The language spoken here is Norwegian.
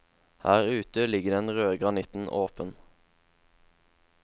Her ute ligger den røde granitten åpen.